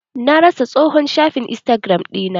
Na rasa tsohon shafi istagiram ɗina.